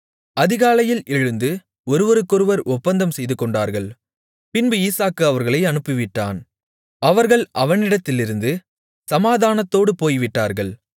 அதிகாலையில் எழுந்து ஒருவருக்கொருவர் ஒப்பந்தம் செய்துகொண்டார்கள் பின்பு ஈசாக்கு அவர்களை அனுப்பிவிட்டான் அவர்கள் அவனிடத்திலிருந்து சமாதானத்தோடு போய்விட்டார்கள்